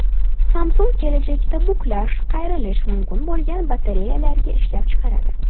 Samsung kelajakda buklash, qayirish mumkin bo‘lgan batareyalarni ishlab chiqaradi.